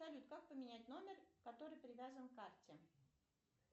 салют как поменять номер который привязан к карте